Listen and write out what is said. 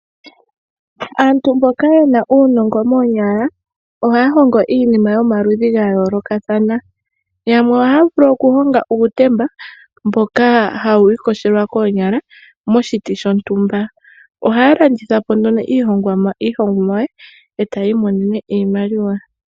Aantu mboka yena uunongo moonyala ohaya hongo iinima yomaludhi gayoolokathana. Yamwe ohaya vulu okuhonga uutemba mboka hawu iyogelwa koonyala moshiti shontumba. Ohaya landitha iihongomwa etaya imonene mo iimaliwa.